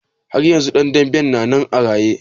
Har yanzu ɗan danben na nan a raye?